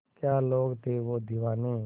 क्या लोग थे वो दीवाने